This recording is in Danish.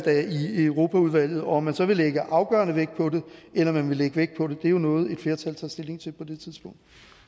i europaudvalget og om man så vil lægge afgørende vægt på det eller om man vil lægge vægt på det er jo noget et flertal tager stilling til på det tidspunkt